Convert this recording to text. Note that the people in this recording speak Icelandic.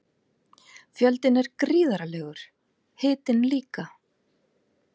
Fjöldinn er gríðarlegur, hitinn líka.